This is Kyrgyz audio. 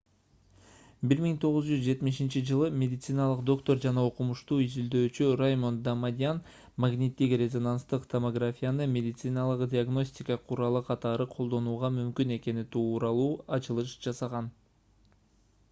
1970-жылы медициналык доктор жана окумушту изилдөөчү раймонд дамадьян магниттик-резонанстык томографияны медициналык диагностика куралы катары колдонууга мүмкүн экени тууралуу ачылыш жасаган